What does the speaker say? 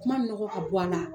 kuma nɔgɔ ka bɔ a la